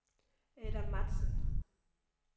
Adam Matzen